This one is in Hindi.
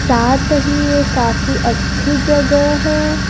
साथ ही ये काफी अच्छी जगह है।